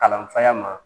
Kalanfaya ma